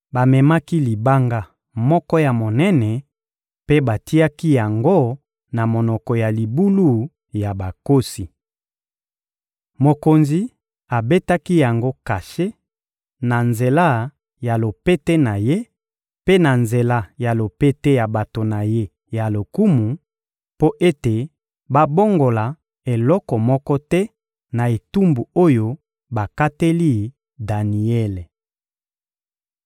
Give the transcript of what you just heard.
Bamemaki libanga moko ya monene mpe batiaki yango na monoko ya libulu ya bankosi. Mokonzi abetaki yango kashe na nzela ya lopete na ye mpe na nzela ya lopete ya bato na ye ya lokumu, mpo ete babongola eloko moko te na etumbu oyo bakateli Daniele.